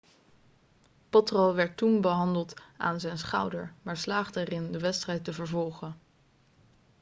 potro werd toen behandeld aan zijn schouder maar slaagde erin de wedstrijd te vervolgen